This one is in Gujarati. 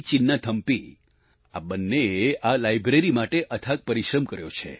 ચિન્નાથમ્પી આ બંનેએ આ લાઈબ્રેરી માટે અથાગ પરિશ્રમ કર્યો છે